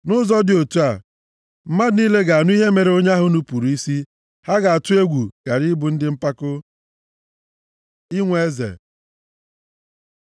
Nʼụzọ dị otu a, mmadụ niile ga-anụ ihe mere onye ahụ nupuru isi, ha ga-atụ egwu ghara ịbụ ndị mpako. Inwe eze